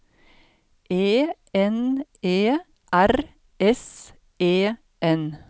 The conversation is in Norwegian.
E N E R S E N